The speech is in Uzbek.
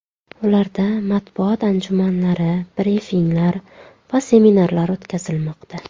Ularda matbuot anjumanlari, brifinglar va seminarlar o‘tkazilmoqda.